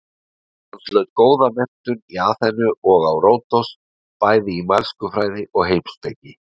Hann hlaut góða menntun í Aþenu og á Ródos bæði í mælskufræði og heimspeki.